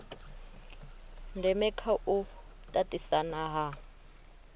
ndeme kha u tatisana ha